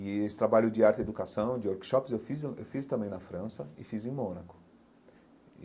E esse trabalho de arte e educação, de workshops, eu fiz eu fiz também na França e fiz em Mônaco.